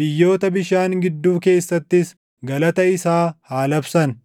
biyyoota bishaan gidduu keessattis galata isaa haa labsan.